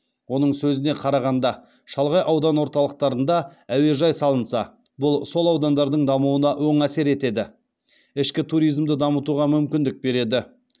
оның сөзіне қарағанда шалғай аудан орталықтарында әуежай салынса бұл сол аудандардың дамуына оң әсер етеді ішкі туризмді дамытуға мүмкіндік береді